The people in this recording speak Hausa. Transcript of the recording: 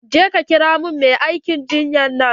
Je ka kira min mai aikin jinyan nan.